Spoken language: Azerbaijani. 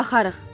Baxarıq.